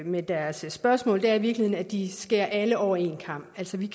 med deres spørgsmål i virkeligheden er at de skærer alle over en kam altså vi